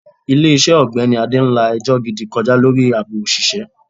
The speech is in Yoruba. Ilé iṣẹ́ ogbeni Ade ń la ẹjọ́ gidi kọjá lórí àbò òṣìṣẹ́.